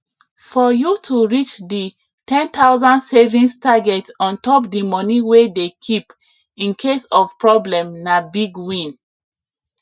fpr you to reach the 10000 savings target ontop the money wey dey keep incase of problem na big win